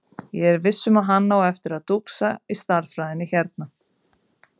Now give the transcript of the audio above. Ég er viss um að hann á eftir að dúxa í stærðfræðinni hérna.